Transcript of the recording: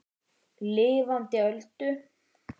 Lifandi Öldu.